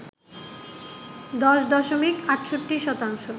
১০ দশমিক ৬৮ শতাংশ